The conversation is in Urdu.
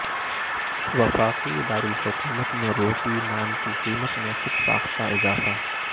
وفاقی درالحکومت میں روٹی نان کی قیمت میں خودساختہ اضافہ